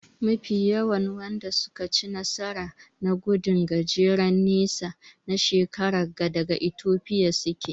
Mafi yawan Wanda suka ci nasara na gudun gajeren nesa na shekaran ga daga Ethiopia suke.